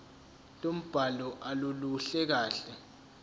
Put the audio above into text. lombhalo aluluhle kahle